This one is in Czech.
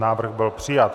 Návrh byl přijat.